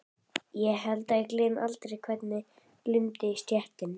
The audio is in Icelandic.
Ég held að ég gleymi aldrei hvernig glumdi í stéttinni.